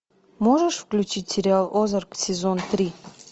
можешь включить сериал озарк сезон три